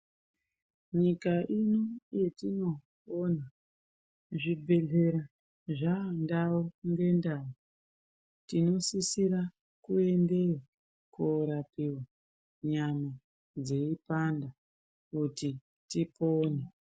Nyika ino yetinopona zvibhedhlera zvandau ngendau. Tinosisira kuendeyo korapiva nyama dzeipanda kuti tipone.